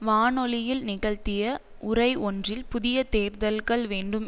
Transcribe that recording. வானொலியில் நிகழ்த்திய உரை ஒன்றில் புதிய தேர்தல்கள் வேண்டும்